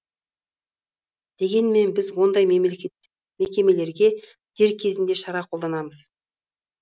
дегенмен біз ондай мекемелерге дер кезінде шара қолданамыз